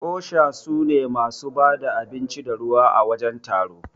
osha sune masu bada abinci da ruwa à wajen taro.